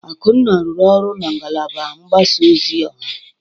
Akunna rụrụ ọrụ na ngalaba mgbasa ozi ọha.